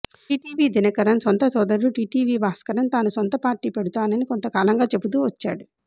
TTV Dhinakaran సొంత సోదరుడు TTV Bhaskaran తాను సొంత పార్టీ పెడుతానని కొంత కాలంగా చెబుతూ వచ్చాడు